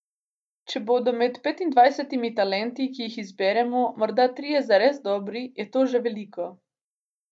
Če bodo med petindvajsetimi talenti, ki jih izberemo, morda trije zares dobri, je to že veliko.